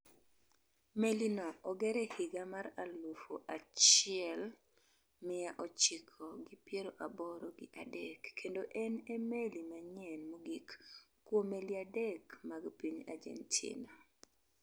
Meli no oger e higa mar aluf achiel miya ochiko gi piero aboro gi adek kendo en e meli manyien mogik kuom meli adek mag piny Argentina.